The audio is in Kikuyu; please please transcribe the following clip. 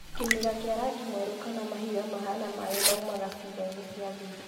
Kĩmira kĩa rangi mweru kana mahira mahana maĩ maumaga ciĩgainĩ cia thiri